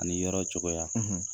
Ani yɔrɔ cogoya